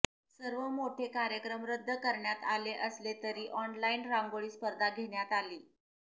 सर्व मोठे कार्यक्रम रद्द करण्यात आले असले तरी ऑनलाईन रांगोळी स्पर्धा घेण्यात आली